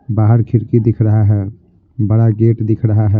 बाहर खिड़की दिख रहा है बड़ा गेट दिख रहा है।